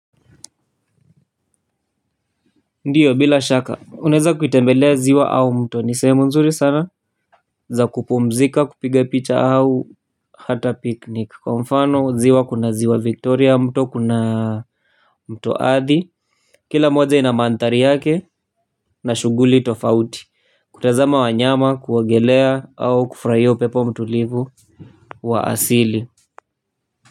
Ndiyo bila shaka unaeza kuitembelea ziwa au mto ni sehemu nzuri sana za kupumzika kupiga picha au hata picnic kwa mfano ziwa kuna ziwa victoria mto kuna mto athi kila moja ina manthari yake na shughuli tofauti kutazama wanyama kuogelea au kufurahia upepo mtulivu wa asili.